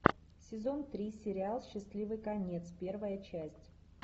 сезон три сериал счастливый конец первая часть